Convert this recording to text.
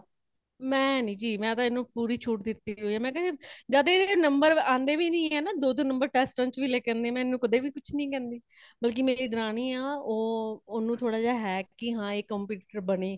ਮੈ ਨਹੀਂ ਜੀ ,ਮੈਤੇ ਏਨੂੰ ਪੂਰੀ ਛੁਟ ਦਿਤੀ ਹੈ , ਮੈ ਕਯਾ ਜਦ ਏਦੇ number ਅੰਦੇ ਵੀ ਨਹੀਂ ਹੈ ਦੋ, ਦੋ number test ਚ ਲੈਕੇ ਆਂਦੀ ਹੈ ਮੇਂ ਏਨੂੰ ਕਦੇ ਵੇ ਕੁਛ ਨਹੀਂ ਕੇਂਦੀ ,ਬਲਕੀ ਮੇਰੀ ਦਰਾਣੀ ਆ ਉਹ ਉਣੁ ਥੋੜਾ ਜਾ ਹੈ ਕੀ ਹੈ ਇਹ competitor ਬਣੇ